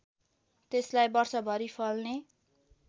त्यसलाई वर्षभरि फल्ने